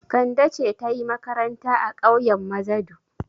Kande ce ta yi makaranta a ƙauyen Mazadu.